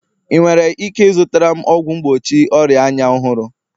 ị nwere ike ịzụtara m ọgwụ mgbochi ọria anya ọhụrụ?